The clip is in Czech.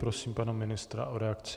Prosím pana ministra o reakci.